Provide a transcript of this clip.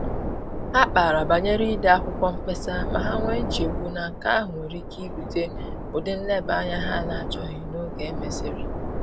Ha kpara banyere ide akwụkwọ mkpesa, ma ha nwee nchegbu na nke ahụ nwere ike ibute ụdị nleba-anya ha na-achọghị n’oge e mesịrị